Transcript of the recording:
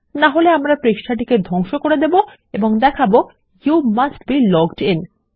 নাহলে আমরা পৃষ্ঠাটি ধংস করে দেবো এবং দেখাবো you must be logged in